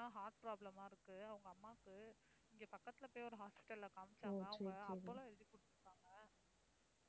ஆஹ் heart problem ஆ இருக்கு அவங்க அம்மாக்கு. இங்க பக்கத்துல போய் ஒரு hospital ல காமிச்சாங்க அவங்க அப்பல்லோ எழுதிக் கொடுத்திருக்காங்க.